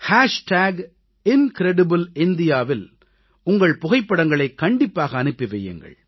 incredibleindiaவில் உங்கள் புகைப்படங்களைக் கண்டிப்பாக அனுப்பி வையுங்கள்